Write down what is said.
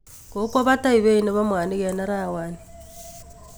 Kokwa bata beit nebo mwanik eng arawani